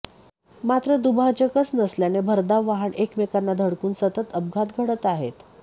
मात्र दुभाजकच नसल्याने भरधाव वाहन एकमेकांना धडकून सतत अपघात घडत आहेत